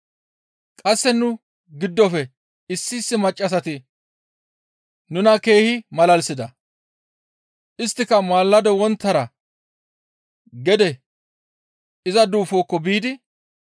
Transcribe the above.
Qasse nu giddofe issi issi maccassati nuna keehi malalisida; isttika maalado wonttara gede iza duufokko biidi,